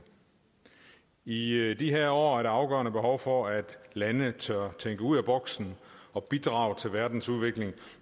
i de her år er der afgørende behov for at lande tør tænke ud af boksen og bidrage til verdens udvikling